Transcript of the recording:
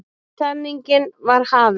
Niðurtalningin var hafin.